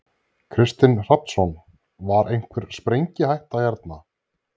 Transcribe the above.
Kristinn Hrafnsson: Var einhvern sprengihætta hérna?